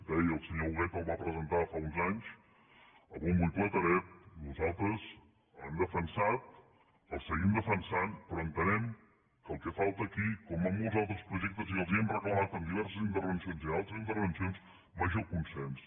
deia el senyor huguet el va presentar fa uns anys a bombo i platerets nosaltres l’hem defensat el seguim defensant però entenem que el que falta aquí com en molts altres projectes i els ho hem reclamat en diverses intervencions i en altres intervencions és major consens